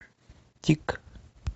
тик